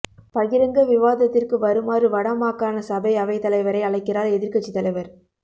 பகிரங்க விவாதத்திற்கு வருமாறு வடமாகாண சபை அவைத்தலைவரை அழைக்கிறார் எதிர்க்கட்சித் தலைவர்